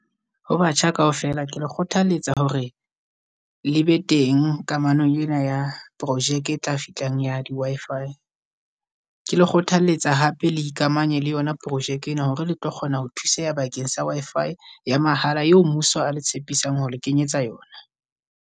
Ho batjha kaofela ke le kgothaletsa hore le be teng kamanong e na ya projeke e tla fitlang ya di-Wi-Fi. Ke le kgothalletsa hape le ikamanye le yona projeke e na, hore letlo kgona ho thuseha bakeng sa Wi-Fi ya mahala eo mmuso a le tshepisang ho le kenyetsa yona.